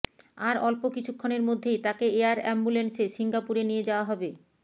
আর অল্প কিছুক্ষণের মধ্যেই তাকে এয়ার অ্যাম্বুলেন্সে সিঙ্গাপুরে নিয়ে যাওয়া হবে